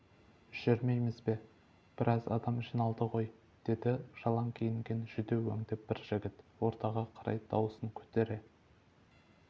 жүрмейміз бе біраз адам жиналды ғой деді жалаң киінген жүдеу өңді бір жігіт ортаға қарай дауысын көтере